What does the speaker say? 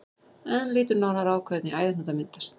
En lítum nánar á hvernig æðahnútar myndast.